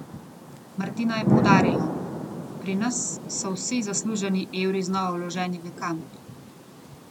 Martina je poudarila: 'Pri nas so vsi zasluženi evri znova vloženi v kamp.